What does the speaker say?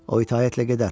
O itaətlə gedər.